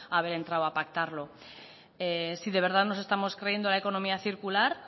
haber entrado a pactarlo si de verdad nos estamos creyendo la economía circular